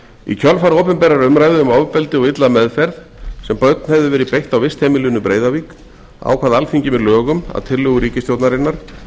í kjölfar opinberrar umræðu um ofbeldi og illa meðferð sem börn hefðu verið beitt á vistheimilinu breiðavík ákvað alþingi með lögum að tillögu ríkisstjórnarinnar